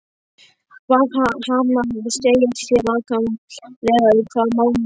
Bað hana að segja sér nákvæmlega um hvað málið snerist.